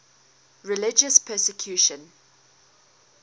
religious persecution